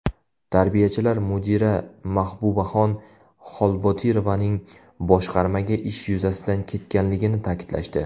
Tarbiyachilar mudira Mahbubaxon Xolbotirovaning boshqarmaga ish yuzasidan ketganligini ta’kidlashdi.